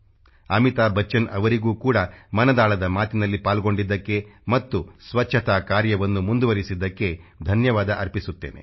ಅಮಿತಾಭ್ ಬಚ್ಚನ್ ಅವರಿಗೂ ಕೂಡ ಮನದಾಳದ ಮಾತಿನಲ್ಲಿ ಪಾಲ್ಗೊಂಡಿದ್ದಕ್ಕೆ ಮತ್ತು ಸ್ವಚ್ಛತಾ ಕಾರ್ಯವನ್ನು ಮುಂದುವರಿಸಿದ್ದಕ್ಕೆ ಧನ್ಯವಾದ ಅರ್ಪಿಸುತ್ತೇನೆ